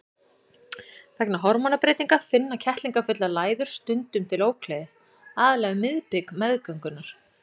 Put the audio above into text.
Vegna hormónabreytinga finna kettlingafullar læður stundum til ógleði, aðallega um miðbik meðgöngunnar.